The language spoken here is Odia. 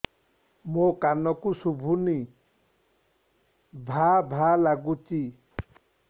ମୋ କାନକୁ ଶୁଭୁନି ଭା ଭା ଲାଗୁଚି